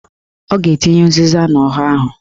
Ọ ga-etinye ụzịza n'ọha ahụ